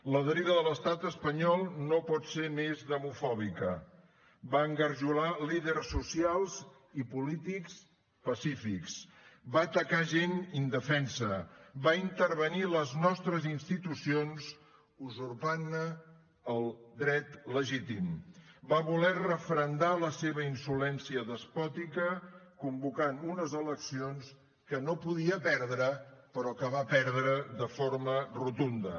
la deriva de l’estat espanyol no pot ser més demofòbica va engarjolar líders socials i polítics pacífics va atacar gent indefensa va intervenir les nostres institucions usurpant ne el dret legítim va voler referendar la seva insolència despòtica convocant unes eleccions que no podia perdre però que va perdre de forma rotunda